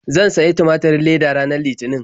Zan sayi tumaturin leda ranar Litinin.